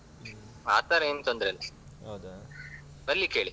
ಇಲ್ಲ ಇಲ್ಲ ಆ ತರ ಏನ್ ತೊಂದ್ರೆಲ್ಲಾ ಬರ್ಲಿಕ್ಕೆ ಹೇಳಿ.